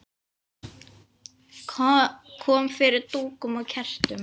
Kom fyrir dúkum og kertum.